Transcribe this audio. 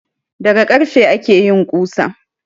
Daga karfe ake yin ƙusa